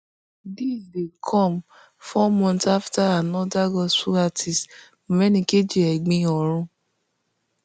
dis dey com four months afta anoda gospel artiste menikeji egbin orun